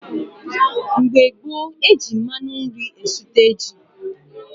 Mgbe gboo, eji mmanụ nri esute ji.